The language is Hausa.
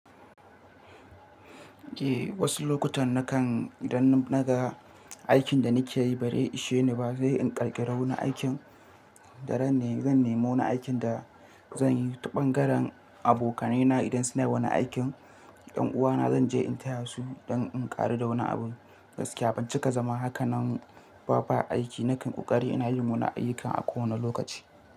Eh wasu lokutan nakan idan naga aikin da nake yi baze ishe ni ba zai in ƙarkiya rauni aikin da zan nemo na aikin da zan yi. Taɓangaren abokaina idan suna wani aikin, 'yan uwana zan je in taya su don in ƙaru da wani abin gaskiya. Ban cika zama haka nan ba aiki nakan ƙoƙari ina yin wani ayyukan a kowane lokaci.